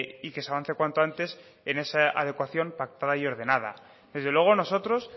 y que se avance cuanto antes en esa adecuación pactada y ordenada desde luego nosotros